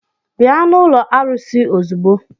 Bịa n'ụlọ arụsị ozugbo!